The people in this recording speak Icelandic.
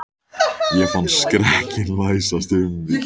Ég fann skrekkinn læsast um mig.